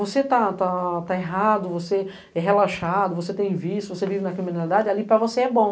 Você está errado, você é relaxado, você tem vício, você vive na criminalidade, ali para você é bom.